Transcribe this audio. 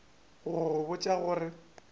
go go botša go re